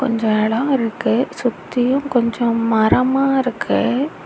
கொஞ்சம் இடம் இருக்கு சுத்தியும் கொஞ்சம் மரமா இருக்கு.